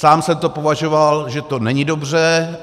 Sám jsem to považoval, že to není dobře.